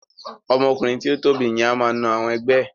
Ọmọ ọkùnrin tí o tóbi yẹn máa n na àwọn ẹgbẹ́ ẹ.